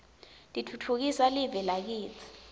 titfutfukisa live lakitsi